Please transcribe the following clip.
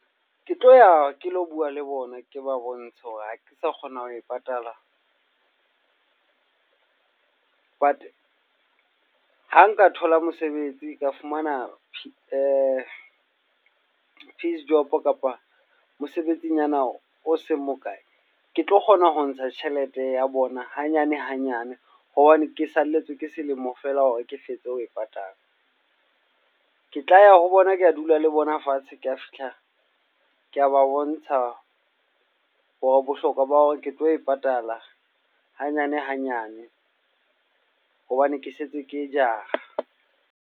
Ke tlo ya ke lo bua le bona, ke ba bontshe hore ha ke sa kgona ho e patala wa teng. Ha nka thola mosebetsi ka fumana P Verstop Ng kapa mosebetsinyana o o seng bokae, ke tlo kgona ho ntsha tjhelete ya bona hanyane hanyane, hobane ke saletswe ke selemo fela hore ke fetse ho e patala, ke tla ya ho bona ke dula le bona fatshe, Ke a fihla ko ba bontsha hore bohlokwa ba hore ke tlo e patala hanyane hanyane hobane ke sentse ke jara ng